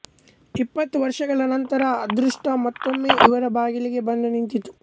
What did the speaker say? ಇಪ್ಪತ್ತು ವರ್ಷಗಳ ನಂತರ ಅದೃಷ್ಟ ಮತ್ತೊಮ್ಮೆ ಅವರ ಬಾಗಿಲಿಗೆ ಬಂದು ನಿಂತಿತ್ತು